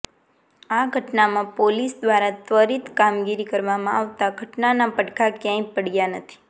આ ઘટનામાં પોલીસ દ્વારા ત્વરીત કામગીરી કરવામાં આવતા ઘટનાના પડઘા ક્યાંય પડ્યા નથી